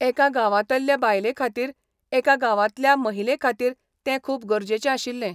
एका गांवांतल्य बायले खातीर एका गांवांतल्या महिले खातीर तें खूब गरजेचें आशिल्लें.